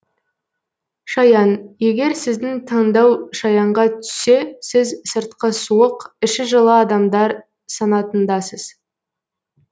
шаян егер сіздің таңдау шаянға түссе сіз сыртқы суық іші жылы адамдар санатындасыз